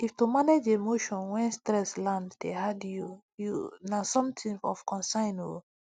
if to manage emotion when stress land dey hard you you na something of concern o